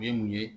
U ye mun ye